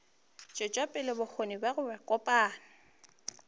tšwetša pele bokgoni bja kopanya